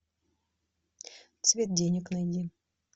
цвет денег найди